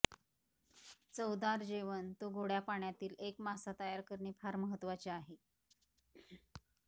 चवदार जेवण तो गोडया पाण्यातील एक मासा तयार करणे फार महत्वाचे आहे